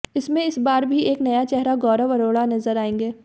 इसमें इस बार भी एक नया चेहरा गौरव अरोरा नजर आएंगे